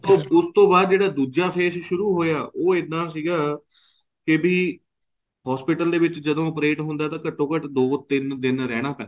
ਉਸ ਤੋਂ ਬਾਅਦ ਜਿਹੜਾ ਦੂਜਾ face ਸ਼ੁਰੂ ਹੋਇਆ ਉਹ ਇੱਦਾਂ ਸੀਗਾ ਕੇ ਵੀ hospital ਦੇ ਵਿੱਚ ਜਦੋਂ operate ਹੁੰਦਾ ਤਾਂ ਘੱਟੋ ਘੱਟ ਦੋ ਤਿੰਨ ਦਿਨ ਰਹਿਣਾ ਪੈਂਦਾ